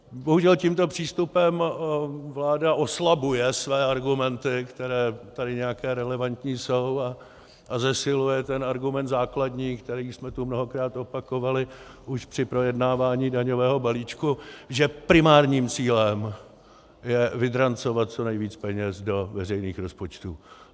Bohužel tímto přístupem vláda oslabuje své argumenty, které tady nějaké relevantní jsou, a zesiluje ten argument základní, který jsme tu mnohokrát opakovali už při projednávání daňového balíčku, že primárním cílem je vydrancovat co nejvíc peněz do veřejných rozpočtů.